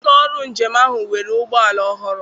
Ụlọ ọrụ njem ahụ nwere ụgbọala ọhụrụ.